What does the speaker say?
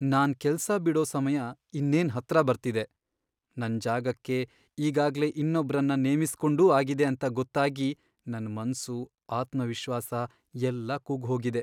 ನಾನ್ ಕೆಲ್ಸ ಬಿಡೋ ಸಮಯ ಇನ್ನೇನ್ ಹತ್ರ ಬರ್ತಿದೆ.. ನನ್ ಜಾಗಕ್ಕೆ ಈಗಾಗ್ಲೇ ಇನ್ನೊಬ್ರನ್ನ ನೇಮಿಸ್ಕೊಂಡೂ ಆಗಿದೆ ಅಂತ ಗೊತ್ತಾಗಿ ನನ್ ಮನ್ಸು, ಆತ್ಮವಿಶ್ವಾಸ ಎಲ್ಲ ಕುಗ್ಗ್ಹೋಗಿದೆ.